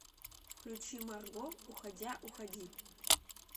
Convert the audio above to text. включи марго уходя уходи